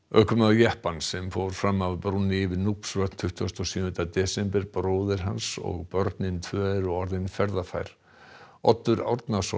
ökumaður jeppans sem fór fram af brúnni yfir tuttugasta og sjöunda desember bróðir hans og börnin tvö eru orðin ferðafær Oddur Árnason